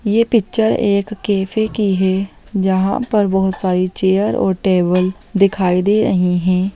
ये पिक्चर एक कैफ़े की है जहाँ पर बहुत सारी चेयर और टेबल दिखाई दे रही है।